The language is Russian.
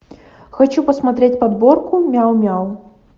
хочу посмотреть подборку мяу мяу